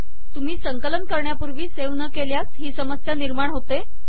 तुम्ही संकलन करण्यापूर्वी सेव्ह न केल्यास ही समस्या निर्माण होते